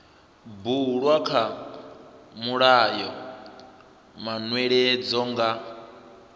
bulwa kha mulayo manweledzo nga